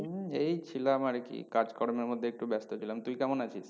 হম এই ছিলাম আর কি কাজ কর্মের মধ্যে একটু ব্যস্ত ছিলাম। তুই কেমন আছিস?